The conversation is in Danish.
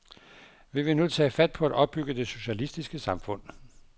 Vi vil nu tage fat på at opbygge det socialistiske samfund.